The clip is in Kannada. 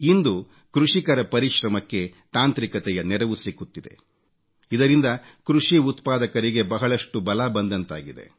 ಇಂದು ಕೃಷಿಕರ ಪರಿಶ್ರಮಕ್ಕೆ ತಾಂತ್ರಿಕತೆಯ ನೆರವು ಸಿಗುತ್ತಿದೆ ಇದರಿಂದ ಕೃಷಿಉತ್ಪಾದಕರಿಗೆ ಬಹಳಷ್ಟು ಬಲ ಬಂದಂತಾಗಿದೆ